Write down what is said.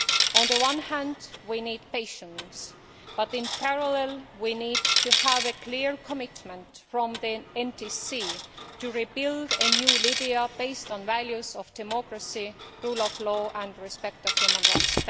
On the one hand we need patience, but in parallel we need to have a clear commitment from the NTC to rebuild a new Libya based on the values of democracy, rule of law and respect for human rights.